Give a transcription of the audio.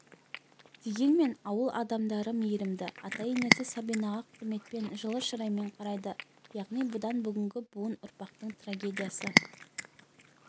дегенмен ауыл адамдары мейірімді ата-енесі сабинаға құрметпен жылы шыраймен қарайды яғни бұдан бүгінгі буын ұрпақтың трагедиясы